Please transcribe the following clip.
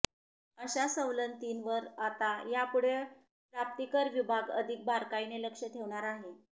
अशा सवलतींवर आता यापुढे प्राप्तिकर विभाग अधिक बारकाईने लक्ष ठेवणार आहे